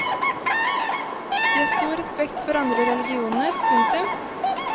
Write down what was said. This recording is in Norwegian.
De har stor respekt for andre religioner. punktum